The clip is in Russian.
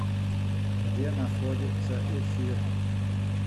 где находится эфир